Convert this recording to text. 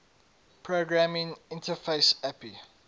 programming interface api